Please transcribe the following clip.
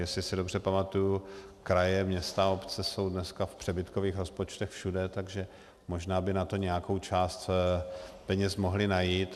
Jestli se dobře pamatuji, kraje, města, obce jsou dneska v přebytkových rozpočtech všude, tak možná by na to nějakou část peněz mohly najít.